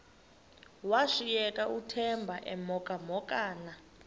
washiyeka uthemba emhokamhokana